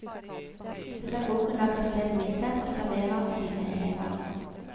Pedagogen lager selv middag og serverer sine elever.